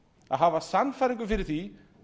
að hafa sannfæringu fyrir því